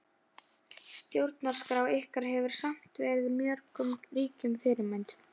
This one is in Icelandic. Stjórnarskrá ykkar hefur samt verið mörgum ríkjum fyrirmynd.